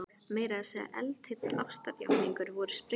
Meira að segja eldheitar ástarjátningar voru sprenghlægilegar.